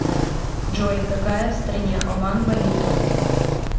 джой какая в стране оман валюта